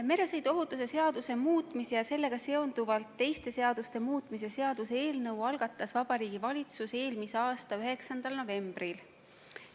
Meresõiduohutuse seaduse muutmise ja sellega seonduvalt teiste seaduste muutmise seaduse eelnõu algatas Vabariigi Valitsus eelmise aasta 9. novembril.